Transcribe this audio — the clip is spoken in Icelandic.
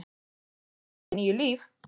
Hann hefur að minnsta kosti níu líf.